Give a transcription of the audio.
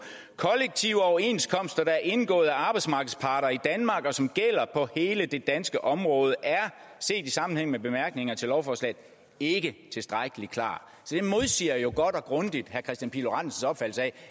kollektive overenskomster der er indgået af arbejdsmarkedets parter i danmark og som gælder på hele det danske område er set i sammenhæng med bemærkningerne til lovforslaget ikke tilstrækkelig klart så det modsiger jo godt og grundigt herre kristian pihl lorentzens opfattelse af